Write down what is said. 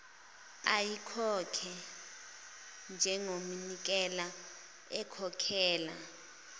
ayikhokhe njengomnikelo ekhokhela